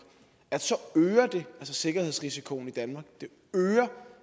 så øger det sikkerhedsrisikoen i danmark det øger